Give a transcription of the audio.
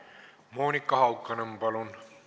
Monika Haukanõmm, palun!